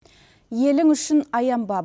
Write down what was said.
елің үшін аянба